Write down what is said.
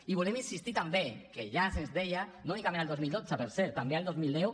i volem insistir també que ja se’ns deia no únicament el dos mil dotze per cert també el dos mil deu